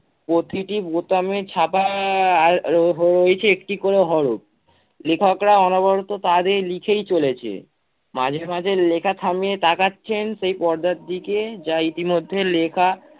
প্রতিটি বোতামে ছাপা আহ আর হয়েছে একটি করে হরফ। লেখকরা অনবরত তাতে লিখেই চলেছে। মাঝেমাঝে লেখা থামিয়ে তাকাচ্ছেন সেই পর্দার দিকে যা ইতিমধ্যে লেখা